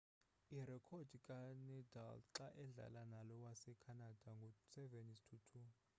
irekhodi kanadal xa edlala nalo wasecanada ngu 7-2